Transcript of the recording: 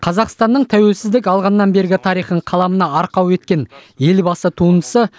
қазақстанның тәуелсіздік алғаннан бергі тарихын қаламына арқау еткен елбасы туындысы